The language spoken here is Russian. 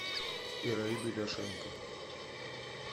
ираиду ляшенко